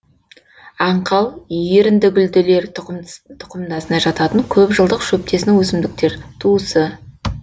аңқал еріндігүлділер тұқымдасына жататын көп жылдық шөптесін өсімдіктер туысы